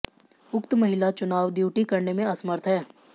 उक्त महिला चुनाव ड्यूटी करने में असमर्थ है